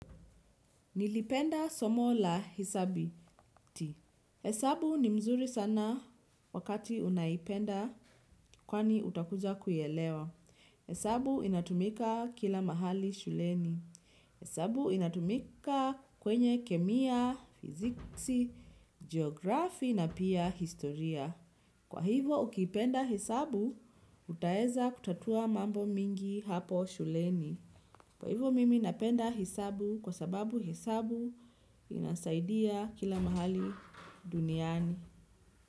Nilipenda somo la hesabati. Hesabu ni mzuri sana wakati unaipenda kwani utakuja kuielewa. Hisabu inatumika kila mahali shuleni. Hesabu inatumika kwenye kemia, physics geografi na pia historia. Kwa hivo ukipenda hesabu, utaweza kutatua mambo mingi hapo shuleni. Kwa hivyo mimi napenda hesabu kwa sababu hesabu inasaidia kila mahali duniani.